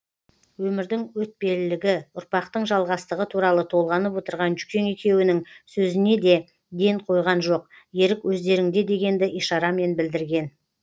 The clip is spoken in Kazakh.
өмірдің өтпелілігі ұрпақтың жалғастығы туралы толғанып отырған жүкең екеуінің сөзіне де ден қойған жоқ ерік өздеріңде дегенді ишарамен білдірген